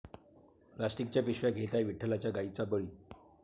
प्लॉस्टिकच्या पिशव्या घेत आहे विठ्ठलाच्या गायींचा बळी!